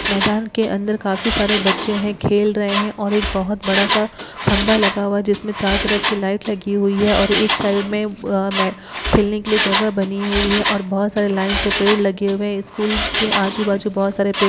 मैदान के अंदर काफी सारे बच्चे हैं खेल रहे हैं और एक बोहोत बड़ा सा खम्भा लगा हुआ है जिसमें चारों तरफ की लाइट लगी हुई है और एक साइड में अ मै खेलने के लिए जगह बनी हुई है और बोहोत सारे लाइन से पेड़ लगे हुए हैं। स्कूल के आजु बाजु बहोत सारे पेड़ --